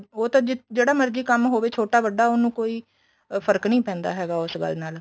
ਉਹ ਤਾਂ ਜਿਹੜਾ ਮਰਜੀ ਕੰਮ ਹੋਵੇ ਛੋਟਾ ਵੱਡਾ ਉਹਨੂੰ ਕੋਈ ਫ਼ਰਕ ਨੀਂ ਪੈਂਦਾ ਹੈਗਾ ਉਸ ਗੱਲ ਨਾਲ